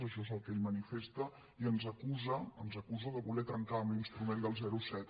això és el que ell manifesta i ens acusa ens acusa de voler trencar amb l’instrument del zero coma set